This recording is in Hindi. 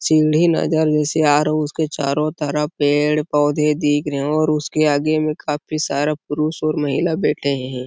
सीढ़ी नज़र जैसे आ रहा है उसके चारों तरफ पेड़-पौधे दिख रहै हैं और उसके आगे में काफी सारा पुरूष और महिला बैठे है।